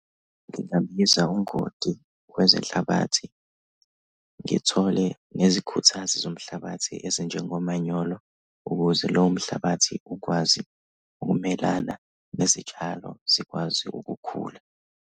Ngingabiza ungoti wezenhlabathi, ngithole nezikhuthazi zomhlabathi ezinjengomanyolo, ukuze lowo mhlabathi ukwazi ukumelana nezitshalo zikwazi ukukhula.